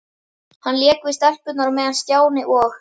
Hann lék við stelpurnar á meðan Stjáni og